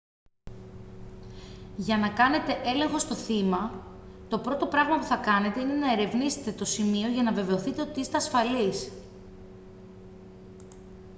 για να κάνετε έλεγχο στο θύμα το πρώτο πράγμα που θα κάνετε είναι να ερευνήσετε το σημείο για να βεβαιωθείτε ότι είστε ασφαλείς